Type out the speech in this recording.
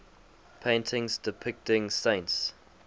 paintings depicting saints